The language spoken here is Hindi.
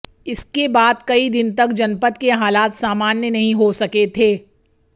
इसके बाद कई दिन तक जनपद के हालात सामान्य नहीं हो सके थे